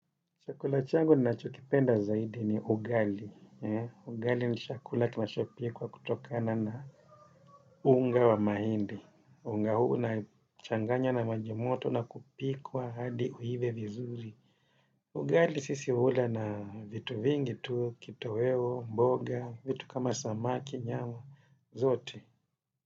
Chakula changu ninachokipenda zaidi ni ugali. Ugali ni chakula kinachopikwa kutokana na unga wa mahindi. Unga huu unachanganywa na maji moto na kupikwa hadi uive vizuri. Ugali sisi hula na vitu vingi tu, kitoweo, mboga, vitu kama samaki, nyama, zote.